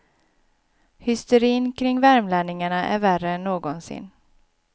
Hysterin kring värmlänningarna är värre än någonsin.